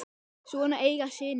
Svona eiga synir að vera.